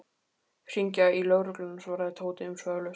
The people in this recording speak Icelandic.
Hringja í lögregluna svaraði Tóti umsvifalaust.